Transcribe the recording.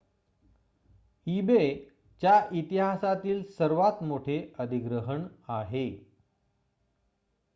ebay च्या इतिहासातील हे सर्वात मोठे अधिग्रहण आहे